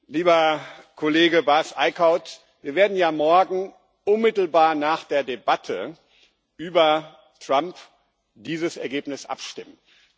Lieber Herr Kollege Bas Eickhout, wir werden morgen unmittelbar nach der Debatte über Trump über dieses Ergebnis abstimmen.